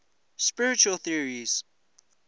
spiritual theories